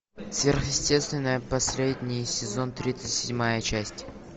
сверхъестественное последний сезон тридцать седьмая часть